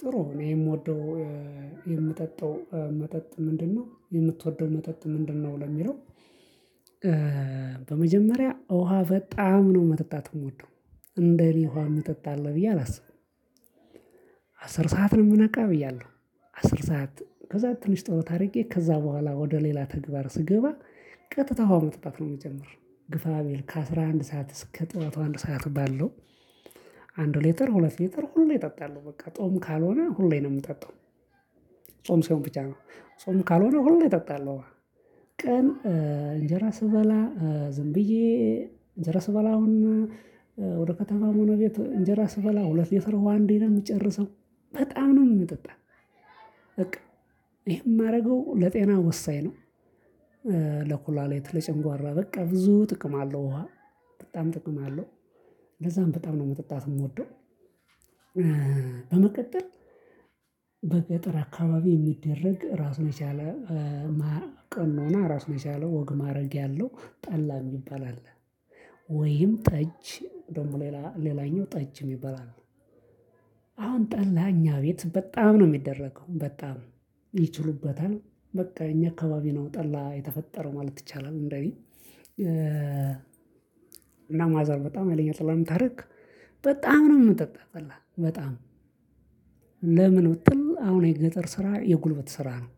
ጥሩ እኔ የምወደው የምጠጣው መጠጥ ምንድነው? የምትወደው መጠጥ ምንድነው? ለሚለው በመጀመሪያ ውሃ በጣም ነው መጠጣት የምወደው እንደኔ ውሃ አሚጠጣ አለ ብዬ አላስብም። አስር ሰዓት ነው የምነቃ ብያለሁ አስር ሰዓት ከዛ ትንሽ ጠሎት አርጌ ከዛ በኋላ ወደ ሌላ ተግባር ስገባ። ቀጥታ ውሃ መጠጣት ነው የሚጀምር ግፋ ቢል ከአስራ አንድ ሰዓት እስከ ጠዋቱ አንድ ሰዓት ባለው። አንድ ሌተር ሁለት ሌተር ሁሌ እጠጣለሁ በቃ ጾም ካልሆነ ሁሌ ነው የምጠጣው። ጾም ሲሆን ብቻ ነው ጾም ካልሆነ ሁሌ እጠጣለሁ። ቀን እንጀራ ስበላ ዝም ብዬ እንጀራ ስበላ አሁን ወደ ከተማ ሆነ ቤት እንጀራ ስበላ ሁለት ሊትር አንዴ ነው የምጨርሰው በጣም ነው የምጠጣው። በቃ ይሄ የማደርገው ለጤና ወሳኝ ነው። ለኩላሌት ለጨጓራ በቃ ብዙ ጥቅም አለው ውሃ በጣም ጥቅም አለው። ለዛም በጣም ነው መጠጣት የምወደው። በመቀጠል በገጠር አካባቢ የሚደረግ ራስ መቻል ቀኖና ነው ራሱ የቻለው ወግ ማእረግ ያለው ጠላ የሚባል አለ ወይም ጠጅ ደግሞ ሌላ ሌላኛው ጠጅ ይበላል። አሁን ጠላ እኛ ቤት በጣም ነው የሚደረገው በጣም ይችሉበታል በቃ እኛ አካባቢ ነው ጠላ የተፈጠረው ማለት ይቻላል። እንደኔ እና ማዘር በጣም ሀይለኛ ጠላ ስለምታደርግ በጣም ነው የምጠጣው በጣም ለምን ብትል አሁን የገጠር ስራ የጉልበት ስራ ነው።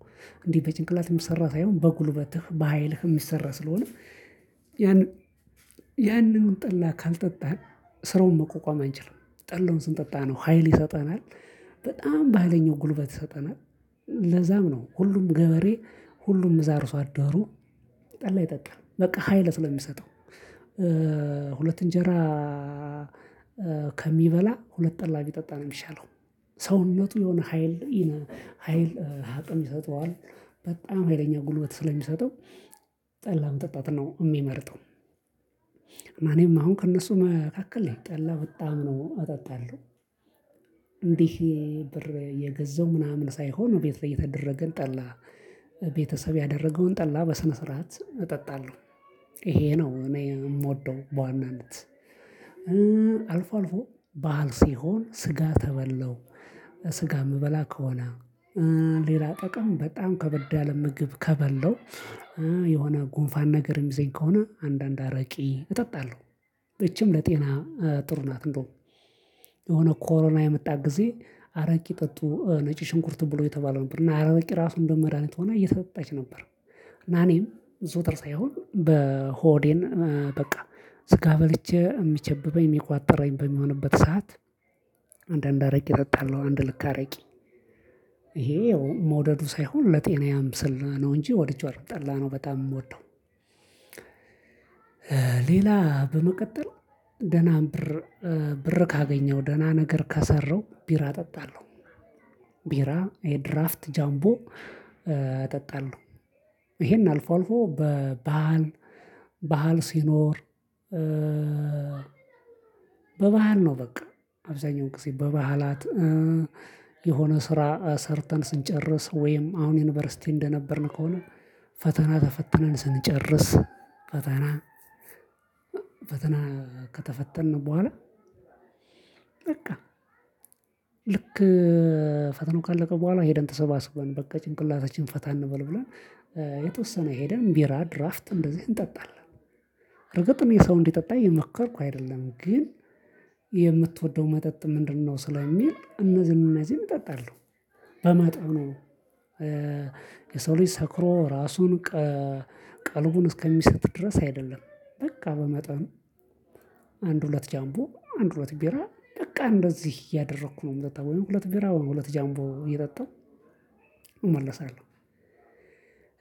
እንዴ በጭንቅላት የምሰራ ሳይሆን በጉልበትህ በሃይልህ የሚሰራ ስለሆነ ያንን ጠላ ካልጠጣህ ስራውን መቆቋም አንችልም። ጠላውን ስንጠጣ ነው ሀይል ይሰጠናል። በጣም በሃይለኛው ጉልበት ይሰጠናል ለዛም ነው ሁሉም ገበሬ ሁሉም እዛ አርሶ አደሩ ጠላ ይጠጣል በቃ ሀይል ስለሚሰጠው። ሁለት እንጀራ ከሚበላ ሁለት ጠላ ቢጠጣ የሚሻለው ሰውነቱ የሆነ ሀይል ሀይል አቅም ይሰጠዋል። በጣም ሀይለኛ ጉልበት ስለሚሰጠው ጠላ መጠጣት ነው የሚመርጠው። እኔም አሁን ከእነሱ መካከል ነኝ ጠላ በጣም ነው እጠጣለሁ። እንዲህ ብር የገዘው ምናምን ሳይሆን ቤት የተደረገን ጠላ ቤተሰብ ያደረገውን ጠላ በስነ ስርዓት እጠጣለሁ። ይሄ ነው እኔ የምወደው በዋናነት። አልፎ አልፎ በዓል ሲሆን ስጋ ተበላው ስጋ የምበላ ከሆነ ሌላ ጠቅም በጣም ከበድ ያለም ምግብ ከበለው የሆነ ጉንፋን ነገር ይዞኝ ከሆነ አንዳንድ አረቄ እጠጣለሁ። እቺም ለጤና ጥሩ ናት። እንደው የሆነ ኮሮና የመጣ ጊዜ አረቄ ጠጡ ነጭ ሽንኩርት ብሉ የተባለው ነበር እና አረቄ ራሱ እንደው መድሃኒት ሆና እየተጠቀሰች ነበር። እና እኔም ዘወትር ሳይሆን በሆዴን በቃ ስጋ በልቼ የሚጨብበኝ የሚቋጠረኝ በሚሆንበት ሰዓት አንዳንድ አረቄ እጠጣለሁ አንድ ልክ አረቄ ይሄ መውደዱ ሳይሆን ለጤናዬም ስላ ነው እንጂ ወድቼዋለሁ ጠላነው በጣም የምወደው። ሌላ በመቀጠል ደህና ብር ብር ካገኘው ደህና ነገር ከሰራው ቢራ እጠጣለሁ። ቢራ የድራፍት ጃምቦ እጠጣለሁ። ይሄን አልፎ አልፎ በባህል ባህል ሲኖር። በባህል ነው በቃ አብዛኛው ጊዜ በባህላት የሆነ ስራ ሰርተን ስንጨርስ ወይም አሁን ዩኒቨርሲቲ እንደነበርን ከሆነ። ፈተና ተፈትነን ስንጨርስ ፈተና ፈተና ከተፈተንን በኋላ። በቃ ልክ ፈተናው ካለቀ በኋላ ሄደን ተሰባስበን በቃ ጭንቅላታችን ፈታ እንበል ብለን የተወሰነ ሄደን ቢራ ድራፍት እንደዚህ እንጠጣለን። እርግጥ የሰው እንዲጠጣ እየሞከርኩ አይደለም ግን የምትወደው መጠጥ ምንድነው? ስለሚል እነዚህን እነዚህን እጠጣለሁ። በመጠኑ የሰው ልጅ ሰክሮ ራሱን ቀልቡን እስከሚሰጥ ድረስ አይደለም። በቃ በመጠኑ አንድ ሁለት ጃምቦ አንድ ሁለት ቢራ በቃ እንደዚህ እያደረኩ ነው የምጠጣው። ወይም ሁለት ቢራ ወይም ሁለት ጃምቦ እየጠጣሁ እመለሳለሁ።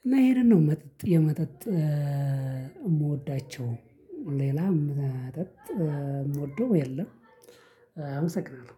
እና ይሄንን ነው መጠጥ የመጠጥ የምወዳቸው። ሌላም መጠጥ የምወደው የለም። አመሰግናለሁ።